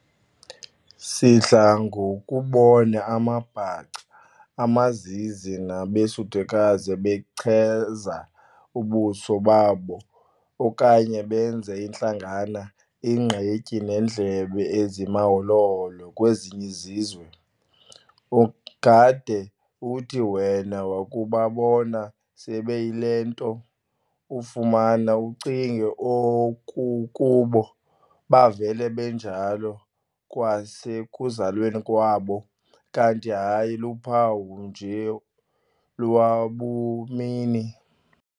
Sidla ngokubona amaBhaca, amaZizi nabeSuthukazi bechaza ubuso babo okanye beenze intlangana, ingqithi neendlebe ezimaholo-holo kwezinye izizwe, ungade uthi wena wakubabona sebeyile nto, ufumana ucinge okokuba bavele benjalo kwasekuzalweni kwabo, kanti hayi luphawu nje lwabumini.